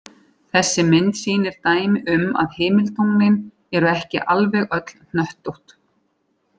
Þessi mynd sýnir dæmi um að himintunglin eru ekki alveg öll hnöttótt.